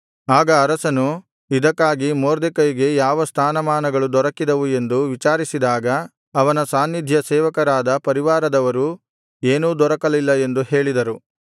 ಆಗ ಅರಸನು ಇದಕ್ಕಾಗಿ ಮೊರ್ದೆಕೈಗೆ ಯಾವ ಸ್ಥಾನಮಾನಗಳು ದೊರಕಿದವು ಎಂದು ವಿಚಾರಿಸಿದಾಗ ಅವನ ಸಾನ್ನಿಧ್ಯಸೇವಕರಾದ ಪರಿವಾರದವರು ಏನೂ ದೊರಕಲಿಲ್ಲ ಎಂದು ಹೇಳಿದರು